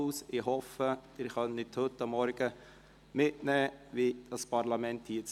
Ich hoffe, Sie können heute Morgen erfahren, wie das Parlament tagt.